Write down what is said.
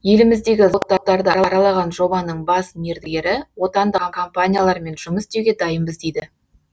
еліміздегі зауыттарды аралаған жобаның бас мердігері отандық компаниялармен жұмыс істеуге дайынбыз дейді